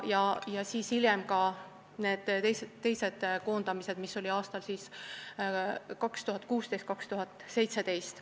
Hiljem toimusid veel koondamised, aastatel 2016–2017.